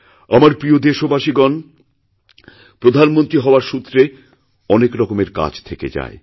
আমার প্রিয় দেশবাসীগণপ্রধানমন্ত্রী হওয়ার সূত্রে অনেক রকমের কাজ থেকে যায়